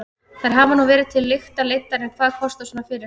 Þær hafa nú verið til lykta leiddar en hvað kostar svona fyrirtæki?